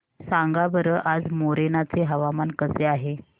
सांगा बरं आज मोरेना चे हवामान कसे आहे